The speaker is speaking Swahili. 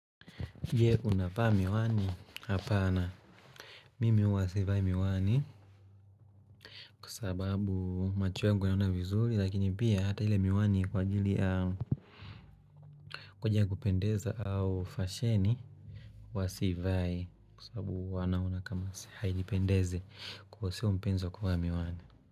Uje unavaa miwani hapana Mimi uwa sivai miwani Kwa sababu macho yangu yaona vizuri lakini pia hata ile miwani kwa ajili Kujia kupendeza au fasheni huwasivai kwa sababu huwanaona kama hainipendeze kuhosio mpenzi kuvaa miwani.